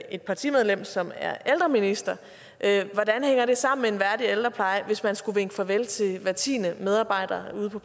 et partimedlem som er ældreminister hvordan hænger det sammen med en værdig ældrepleje hvis man skulle vinke farvel til hver tiende medarbejder ude på